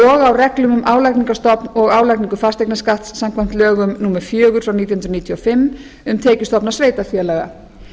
og á reglum um álagningarstofn og álagningu fasteignaskatts samkvæmt lögum númer fjögur nítján hundruð níutíu og fimm um tekjustofna sveitarfélaga